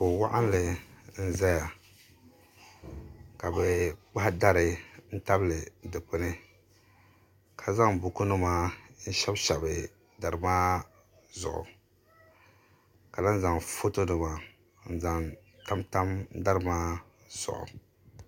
kuɣu waɣanli n ʒɛya ka bi kpahi dari n tabili dikpuni ka zaŋ buku nim n shɛbi shɛbi dari maa zuɣu ka lahi zaŋ foto nima n zaŋ tamtam dari maa zuɣu